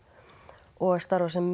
og að starfa sem